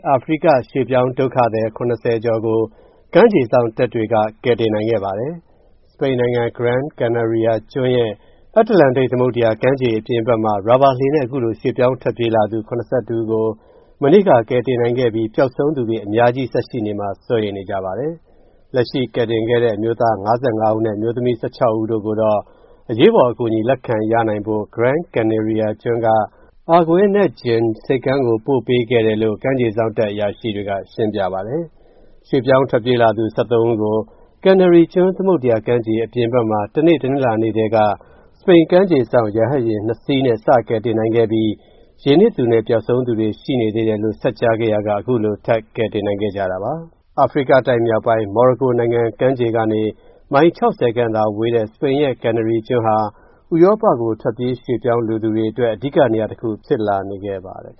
အာဖရိက ရွှေ့ပြောင်းဒုက္ခသည် ၇၀ ကျော်ကို ကမ်းခြေစောင့်တပ်တွေက ကယ်တင်နိုင်ခဲ့ပါတယ်။ စပိန်နိုင်ငံ Gran Canaria ကျွန်းရဲ့ အတ္တလန်တိတ် သမုဒ္ဒရာကမ်းခြေ အပြင်ဘက်မှာ ရာဘာလှေနဲ့ အခုလို ရွှေ့ပြောင်းထွက်ပြေးလာသူ ၇၁ ဦးကို မနေ့က ကယ်တင်နိုင်ခဲ့ပြီး ပျောက်ဆုံးသူတွေ အများကြီးဆက်ရှိနေမှာ စိုးရိမ်နေကြပါတယ်။ လက်ရှိကယ်တင်ခဲ့တဲ့ အမျိုးသား ၅၅ ဦးနဲ့ အမျိုးသမီး ၁၆ ဦး တို့ကိုတော့ အရေးပေါ်အကူအညီ လက်ခံရနိုင်ဖို့ Gran Canaria ကျွန်းက Arguinegyin ဆိပ်ကမ်းကို ထပ်ပို့ပေးခဲ့ပါတယ်လို့ ကမ်းခြေစောင့်တပ်အရာရှိတွေက ရှင်းပြပါတယ်။ ရွှေ့ပြောင်းထွက်ပြေးလာသူ ၁၃ ဦးကို Canary ကျွန်း သမုဒ္ဒရာကမ်းခြေ အပြင်ဘက်မှာ တနေ့ တနင်္လာကတည်းက စပိန်ကမ်းခြေစောင့် ရဟတ်ယာဉ် ၂ စီးနဲ့ စတယ်နိုင်ခဲ့ပြီး ရေနစ်သူနဲ့ ပျောက်ဆုံးသူတွေ ရှိနေသေးတယ်လို့ ဆက်ကြားခဲ့ရာက အခုလို ထပ်ကယ်တင်နိုင်ခဲ့တာပါ။ အာဖရိကတိုက်မြောက်ပိုင်း မော်ရိုကိုနိုင်ငံ ကမ်းခြေကနေ မိုင် ၆၀ ခန့် ဝေးတဲ့ စပိန်ရဲ့ Canary ကျွန်းဟာ ဥရောပကို ထွက်ပြေးရွှေ.ပြောင်းလိုသူတွေအတွက် အဓိက နေရာတခု ဖြစ်လာနေခဲ့ပါတယ်။